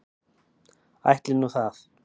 Ætli nú það.